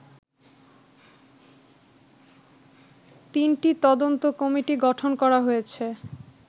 তিনটি তদন্ত কমিটি গঠনকরা হয়েছে